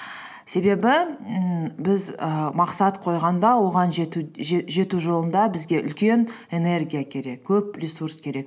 себебі ммм біз і мақсат қойғанда оған жету жет жету жолында бізге үлкен энергия керек көп ресурс керек